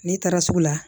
N'i taara sugu la